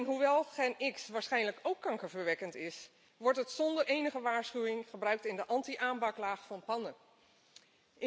Hoewel GenX waarschijnlijk ook kankerverwekkend is, wordt het zonder enige waarschuwing in de anti aanbaklaag van pannen gebruikt.